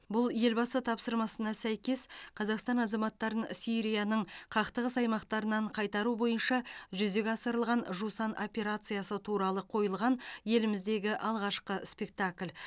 бұл елбасы тапсырмасына сәйкес қазақстан азаматтарын сирияның қақтығыс аймақтарынан қайтару бойынша жүзеге асырылған жусан операциясы туралы қойылған еліміздегі алғашқы спектакль